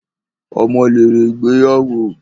Ọmọ lèrè ìgbéyàwó